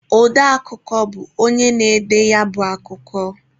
Ọde akụkọ bụ onye na-ede ya bụ akụkọ